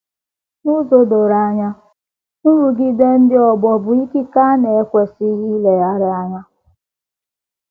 N’ụzọ doro anya, nrụgide ndị ọgbọ bụ ikike a na - ekwesịghị ileghara anya.